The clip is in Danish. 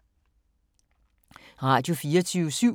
Radio24syv